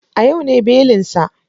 A yau ne belin sa.